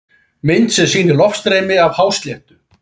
Mynd sem sýnir loftstreymi af hásléttu.